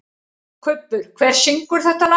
Kubbur, hver syngur þetta lag?